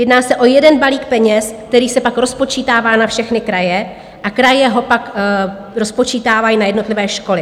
Jedná se o jeden balík peněz, který se pak rozpočítává na všechny kraje a kraje ho pak rozpočítávají na jednotlivé školy.